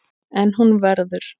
En hún verður.